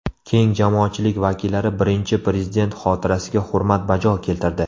Keng jamoatchilik vakillari Birinchi Prezident xotirasiga hurmat bajo keltirdi.